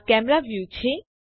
આ camera view છે